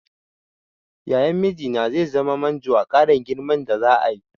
Yayan mijina zai zama manjo a ƙarin girman da za'a yi.